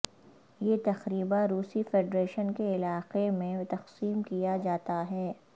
یہ تقریبا روسی فیڈریشن کے علاقے میں تقسیم کیا جاتا ہے